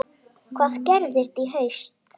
Hvað gerist í haust?